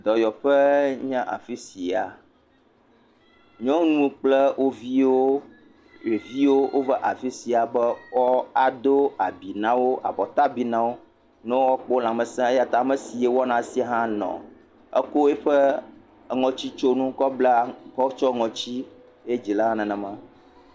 Dɔyɔƒee nye afi sia. Nyɔnu kple wo viwo ɖeviwo wova afi sia be woado abi na wo abɔta bi na wo ne woakpɔ lãmesẽ eya ta ame si wɔna esia hã nɔ anyi. Etsɔ eƒe ŋɔti bla tsɔ tsiɔ ŋuti eya ta wova afi sia.